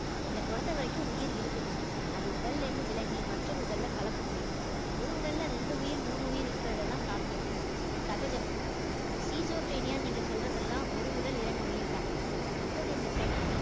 என்ன பொறுத்தவரைக்கும் உயிர் இருக்குது அது உடல்ல இருந்து விலகி மற்றவர் உடல்ல கலக்க முடியும் ஒரு உடல்ல ரெண்டு உயிர் மூணு உயிர் இருக்கிறதெல்லாம் சாத்தியம் சகஜம். நீங்க சொல்றதெல்லாம் ஒரு உடல் இரண்டு உயிர்தான் இப்போது இந்த பெண்